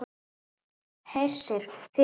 Hersir: Þið líka?